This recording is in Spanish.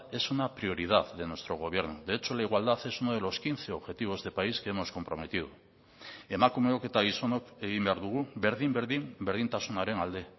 es una prioridad de nuestro gobierno de hecho la igualdad es uno de los quince objetivos de país que hemos comprometido emakumeok eta gizonok egin behar dugu berdin berdin berdintasunaren alde